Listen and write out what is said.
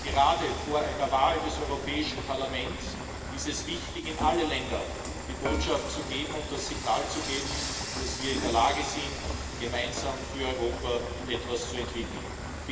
Gerade vor einer Wahl des Europäischen Parlaments ist es wichtig, in alle Länder die Botschaft und das Signal zu senden, dass wir in der Lage sind, gemeinsam für Europa etwas zu entwickeln.